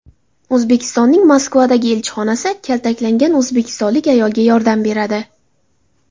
O‘zbekistonning Moskvadagi elchixonasi kaltaklangan o‘zbekistonlik ayolga yordam beradi.